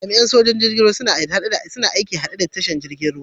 Jami'in sojoji'n ruwa na aiki a'hadde da wuraren tashar jirigin ruwa.